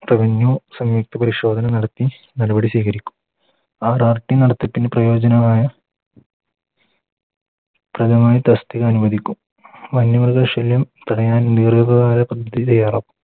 സംയുക്ത പരിശോധന നടത്തി നടപടി സ്വീകരിക്കും പ്രയോജനമായ പ്രയോചനമായ തസ്തിക അനുവദിക്കും വന്യമൃഗ ശല്യം തടയാൻ ദീർഘകാല പദ്ധതി തയ്യാറാക്കും